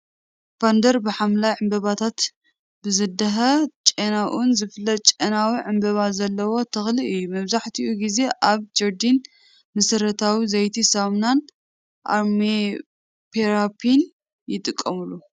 ቫንደር ብሐምላይ ዕምባባታቱን ብዘህድእ ጨናኡን ዝፍለጥ ጨናዊ ዕምባባ ዘለዎ ተኽሊ እዩ። መብዛሕትኡ ግዜ ኣብ ጀርዲን፣ መሰረታዊ ዘይቲ፡ ሳሙናን ኣሮማቴራፒን ይጥቀመሉ።